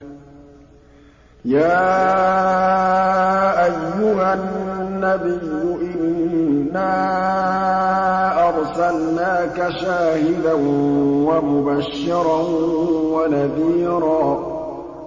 يَا أَيُّهَا النَّبِيُّ إِنَّا أَرْسَلْنَاكَ شَاهِدًا وَمُبَشِّرًا وَنَذِيرًا